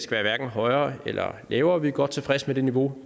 være hverken højere eller lavere vi er godt tilfredse med det niveau